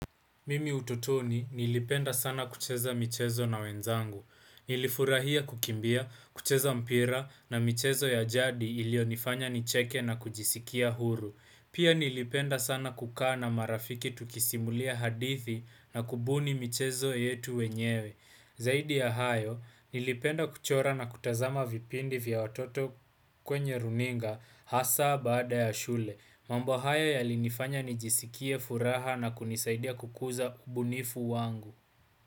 Mimi utotoni nilipenda sana kucheza michezo na wenzangu. Nilifurahia kukimbia, kucheza mpira na michezo ya jadi iliyonifanya nicheke na kujisikia huru. Pia nilipenda sana kukaa na marafiki tukisimulia hadithi na kubuni michezo yetu wenyewe. Zaidi ya hayo, nilipenda kuchora na kutazama vipindi vya watoto kwenye runinga hasa baada ya shule. Mambo haya ya linifanya nijisikie furaha na kunisaidia kukuza ubunifu wangu.